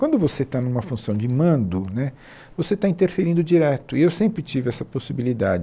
Quando você está numa função de mando né, você está interferindo direto, e eu sempre tive essa possibilidade.